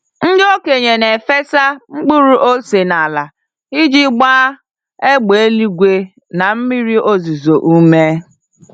Ndị okenye na-efesa mkpụrụ ose n'ala iji gbaa égbè eluigwe na mmiri ozuzo ume.